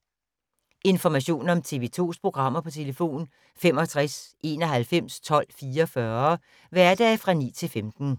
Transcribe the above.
Information om TV 2's programmer: 65 91 12 44, hverdage 9-15.